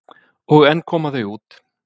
Og enn koma þau út.